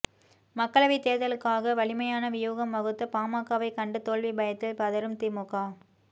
மக்களவை தேர்தலுக்காக வலிமையான வியூகம் வகுத்த பாமகவை கண்டு தோல்வி பயத்தில் பதறும் திமுக